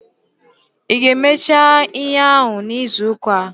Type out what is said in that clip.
Ị ga-emecha ihe ahụ n'izuuka a?